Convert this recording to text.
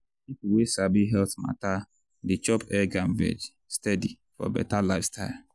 people wey sabi health matter dey chop egg and veg steady for better lifestyle.